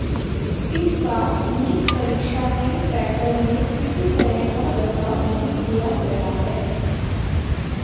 इस बार नीट परीक्षा के पैटर्न में किसी तरह का बदलाव नहीं किया गया है